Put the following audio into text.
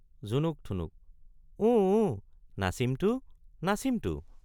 জুনুক ঠুনুক—ওঁ ওঁ নাচিম তো—নাচিম তো।